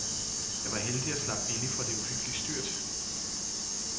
Jeg var heldig og slap billigt fra det uhyggelige styrt.